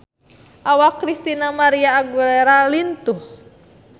Awak Christina María Aguilera lintuh